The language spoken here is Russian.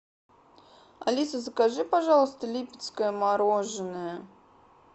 алиса закажи пожалуйста липецкое мороженое